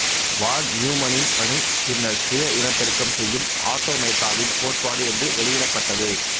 வான் நியூமனின் பணி பின்னர் சுய இனப்பெருக்கம் செய்யும் ஆட்டோமேட்டாவின் கோட்பாடு என்று வெளியிடப்பட்டது